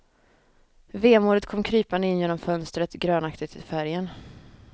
Vemodet kom krypande in genom fönstret, grönaktigt till färgen.